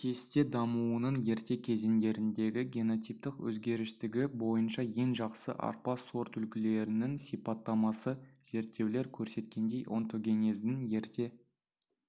кесте дамуының ерте кезеңдеріндегі генотиптік өзгергіштігі бойынша ең жақсы арпа сортүлгілерінің сипаттамасы зерттеулер көрсеткендей онтогенездің ерте